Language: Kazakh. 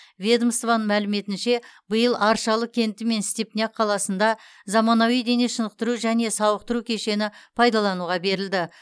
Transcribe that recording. ведомствоның мәліметінше биыл аршалы кенті мен степняк қаласында заманауи дене шынықтыру және сауықтыру кешені пайдалануға берілді